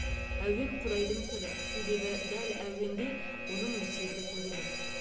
әуен құдайдың тілі себебі дәл әуенде оның өсиеті төгіледі